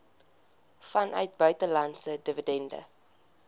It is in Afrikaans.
vanuit buitelandse dividende